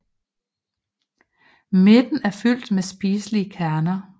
Midten er fyldt med spiselige kerner